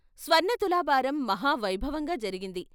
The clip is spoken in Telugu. స్వర్ణ తులాభారం మహావైభవంగా జరిగింది.